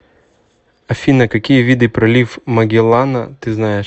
афина какие виды пролив магеллана ты знаешь